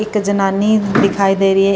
ਇੱਕ ਜਨਾਨੀ ਦਿਖਾਈ ਦੇ ਰਹੀ ਹੈ।